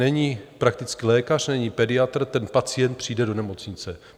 Není praktický lékař, není pediatr, ten pacient přijde do nemocnice.